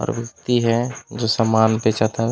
और व्वक्ति है जो समान बेचत हवे ।--